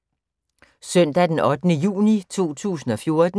Søndag d. 8. juni 2014